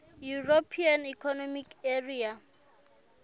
european economic area